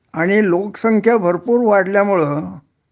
आणि लोकसंख्या भरपूर वाढल्यामुळं